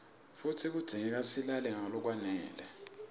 futsi kudzingeka silale ngalokwanele